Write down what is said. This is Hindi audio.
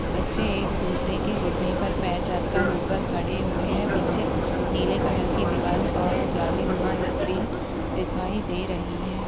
बच्चे एक दूसरे के घुटने पर पैर रख कर ऊपर खड़े हुए हैं पीछे नीले कलर की दीवाल और जालीनुमा स्क्रीन दिखाई दे रही हैं ।